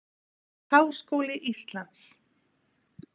Háskóli Íslands